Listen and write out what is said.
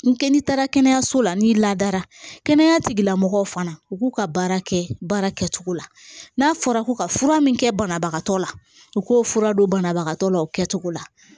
N k'i taara kɛnɛyaso la n'i ladara kɛnɛya tigilamɔgɔw fana u k'u ka baara kɛ baara kɛcogo la n'a fɔra ko ka fura min kɛ banabagatɔ la u k'o fura don banabagatɔ la o kɛcogo la